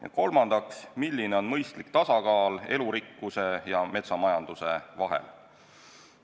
Ja kolmandaks, milline on mõistlik tasakaal elurikkuse ja metsamajanduse vahel?